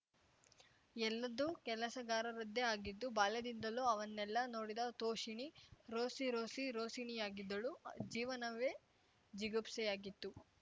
ಎಲ್ಲದೂ ಕೆಲಸಗಾರರದ್ದೇ ಆಗಿತ್ತು ಬಾಲ್ಯದಿಂದಲೂ ಅವನ್ನೆಲ್ಲ ನೋಡಿದ ತೋಷಿಣೀ ರೋಸಿ ರೋಸಿ ರೋಸಿಣಿಯಾಗಿದ್ದಳು ಜೀವನವೇ ಜಿಗುಪ್ಸೆಯಾಗಿತ್ತು